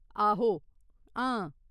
आहो, हां।